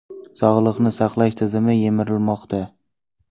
Sog‘liqni saqlash tizimi yemirilmoqda.